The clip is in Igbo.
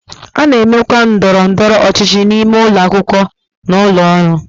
A na-emekwa ndọrọ ndọrọ ọchịchị n'ime ụlọ akwụkwọ na ụlọ ọrụ.